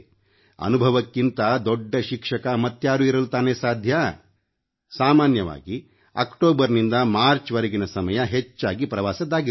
ಅನುಭವಕ್ಕಿಂತ ದೊಡ್ಡ ಶಿಕ್ಷಕ ಮತ್ಯಾರು ಇರಲು ಸಾಧ್ಯ ಸಾಮಾನ್ಯವಾಗಿ ಅಕ್ಟೋಬರ್ನಿಂದ ಮಾರ್ಚ್ ವರೆಗಿನ ಸಮಯ ಹೆಚ್ಚಾಗಿ ಪ್ರವಾಸದ್ದಾಗಿರುತ್ತದೆ